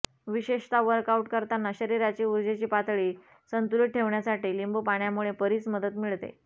विशेषतः वर्कआउट करताना शरीराची ऊर्जेची पातळी संतुलित ठेवण्यासाठी लिंबू पाण्यामुळे बरीच मदत मिळते